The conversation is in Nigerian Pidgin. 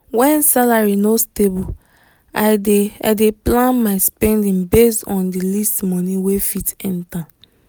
when salary no stable i dey i dey plan my spending based on the least money wey fit enter.